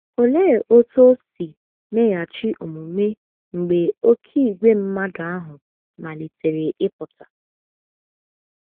Olee otú o si meghachi omume mgbe oké ìgwè mmadụ ahụ malitere ịpụta?